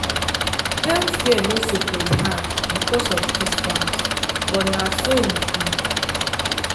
health care no suppose hard because of distance but na so e be.